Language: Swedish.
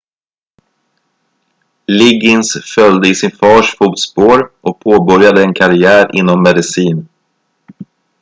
liggins följde i sin fars fotspår och påbörjade en karriär inom medicin